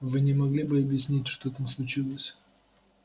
вы не могли бы объяснить что там случилось